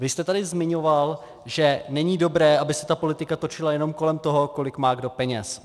Vy jste tady zmiňoval, že není dobré, aby se ta politika točila jenom kolem toho, kolik má kdo peněz.